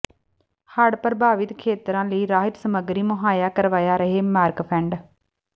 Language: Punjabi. ਹੜ੍ਹ ਪ੍ਰਭਾਵਿਤ ਖੇਤਰਾਂ ਲਈ ਰਾਹਤ ਸਮੱਗਰੀ ਮੁਹੱਈਆ ਕਰਵਾਇਆ ਰਿਹੈ ਮਾਰਕਫੈੱਡ